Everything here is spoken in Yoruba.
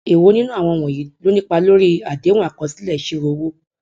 èwo nínú àwọn wọnyí ló nípa lórí àdéhùn akosile isiro owo